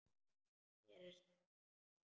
Mér er sama um hlátur.